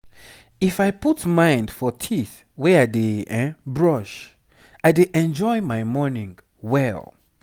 if i put mind for teeth wey i dey brush i dey enjoy my morning well.